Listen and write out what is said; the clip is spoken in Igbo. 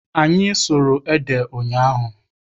Anyị sụrụ ede ụnyaahụ.